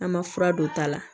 An ma fura don ta la